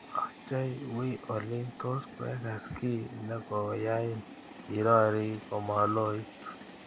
Ochei we oli tos kwegas kiiy negogoyain irori komaloit